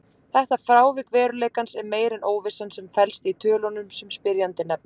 Þetta frávik veruleikans er meira en óvissan sem felst í tölunum sem spyrjandi nefnir.